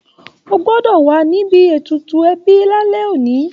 O gbọ́dọ̀ wà níbi ètùtù ẹbí lálẹ́ òní